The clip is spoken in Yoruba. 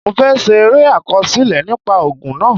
Mo fẹ́ ṣe eré àkọsílẹ̀ nípa ogun náà.